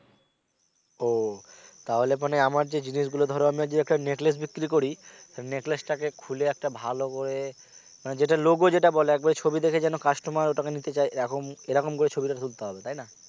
ও তাহলে মানে আমার যে জিনিসগুলো ধরো আমার যদি একটা নেকলেস বিক্রি করি নেকলেসটাকে খুলে একটা ভালো করে মানে যেটা logo যেটা বলে একবারে ছবি দেখে যেন customer ওটাকে নিতে চায় এরকম করে ছবিটা তুলতে হবে তাই না